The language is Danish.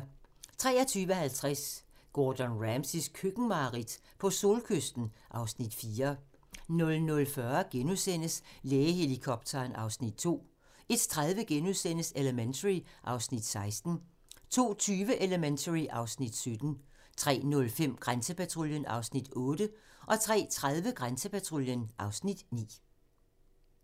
23:50: Gordon Ramsays køkkenmareridt ? på solkysten (Afs. 4) 00:40: Lægehelikopteren (Afs. 2)* 01:30: Elementary (Afs. 16)* 02:20: Elementary (Afs. 17) 03:05: Grænsepatruljen (Afs. 8) 03:30: Grænsepatruljen (Afs. 9)